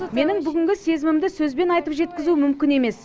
менің бүгінгі сезімімді сөзбен айтып жеткізу мүмкін емес